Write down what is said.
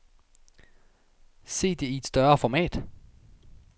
Se det i et større format.